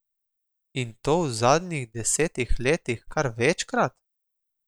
In to v zadnjih desetih letih kar večkrat?